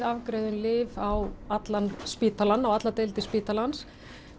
afgreiðum lyf á allan spítalann og allar deildir spítalans